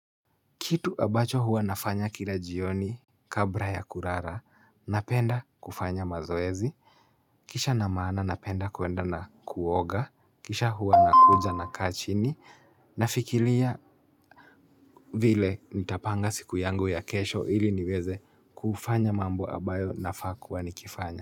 Kitu ambacho huwa nafanya kila jioni kabra ya kurara, napenda kufanya mazoezi, kisha na maana napenda kuenda na kuoga, kisha huwa nakuja nakaa chini, nafikilia vile nitapanga siku yangu ya kesho ili niweze kufanya mambo ambayo nafaa nakuwa nikifanya.